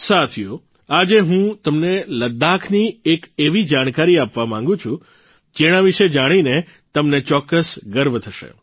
સાથીઓ આજે હું તમને લદ્દાખની એક એવી જાણકારી આપવા માંગું છું તે જેના વિશે જાણીને તમને ચોક્કસ ગર્વ થશે